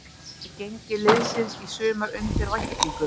Er gengi liðsins í sumar undir væntingum?